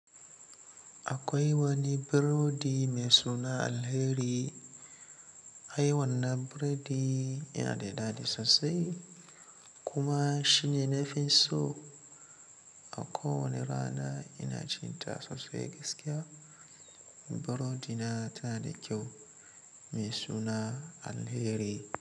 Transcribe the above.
Akwai wani burodi mai suna alheri. Aiwannan burodi yana da daɗi sosai kuma shine nafi so. A kowane rana ina cinta sosai gaskiya. Burodi na tana da kyau mai suna alheri.